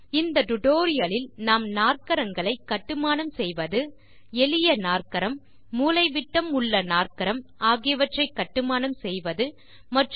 இந்த பாடத்தில் நாம் நாற்கரங்களை கட்டுமானம் செய்வது எளிய நாற்கரம் மூலைவிட்டம் உள்ள நாற்கரம் ஆகியவற்றை கட்டுமானம் செய்வதை காணலாம்